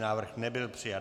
Návrh nebyl přijat.